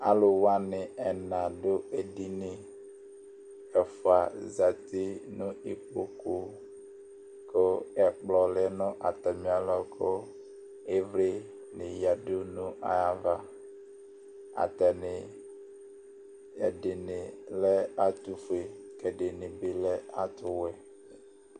Aluwani ɛna dʋ ediniƐfua zati nʋ ikpoku Kʋ ɛkplɔ lɛ nʋ atamialɔ, kʋ ivli ni yadu nʋ ayavaAtani, ɛdini lɛ atufue Kɛdini bi lɛ atuwɛ